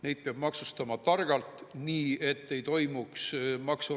Siis ta mõisteti kaheks aastaks ja kaheksaks kuuks vangi ning mõisteti välja ka üle 8,5 miljoni krooni.